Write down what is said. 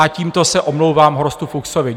A tímto se omlouvám Horstu Fuchsovi.